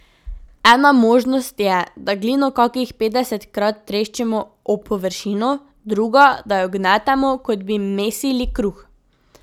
Ena možnost je, da glino kakih petdesetkrat treščimo ob površino, druga, da jo gnetemo, kot bi mesili kruh.